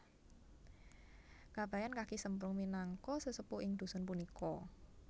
Kabayan Kaki Semprung minangka sesepuh ing dusun punika